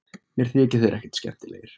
Mér þykja þeir ekkert skemmtilegir